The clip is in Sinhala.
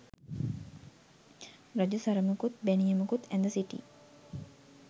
රජු සරමකුත් බැනියමකුත් ඇඳ සිටි